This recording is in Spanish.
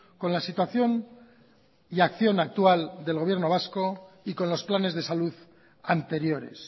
con la situación y acción actual del gobierno vasco y con los planes de salud anteriores